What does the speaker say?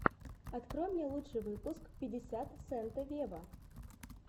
открой мне лучший выпуск пятьдесят сента вево